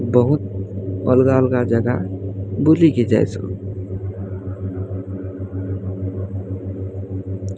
ବହୁତ୍ ଅଲଗା ଅଲଗା ଜାଗା ବୁଲିକି ଯାଇସୁ।